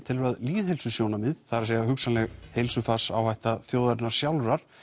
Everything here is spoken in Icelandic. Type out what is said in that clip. telur að lýðheilsusjónarmið það er hugsanleg þjóðarinnar sjálfrar